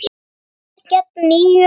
Gamlir gegn nýjum?